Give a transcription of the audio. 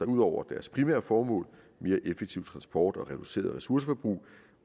ud over deres primære formål mere effektiv transport og reduceret ressourceforbrug